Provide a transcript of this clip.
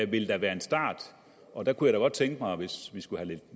ville da være en start og der kunne jeg godt tænke mig hvis vi skal have